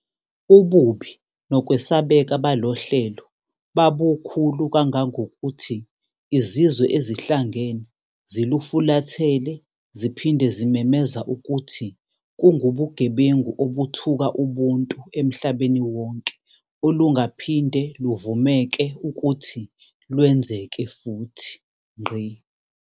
Ububi nokwesabeka balohlelo babukhulu kangangokuthi Izizwe Ezihlangene zilufulathele ziphinde zimemeza ukuthi kungubugebengu obuthuka ubuntu emhlabeni wonke olungaphinde luvumeke ukuthi lwenzeke futhi.